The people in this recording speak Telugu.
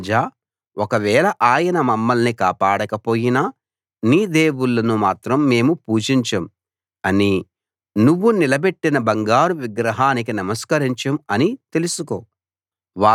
రాజా ఒకవేళ ఆయన మమ్మల్ని కాపాడకపోయినా నీ దేవుళ్ళను మాత్రం మేము పూజించం అనీ నువ్వు నిలబెట్టిన బంగారు విగ్రహానికి నమస్కరించం అనీ తెలుసుకో